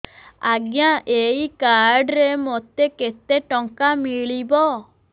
ଆଜ୍ଞା ଏଇ କାର୍ଡ ରେ ମୋତେ କେତେ ଟଙ୍କା ମିଳିବ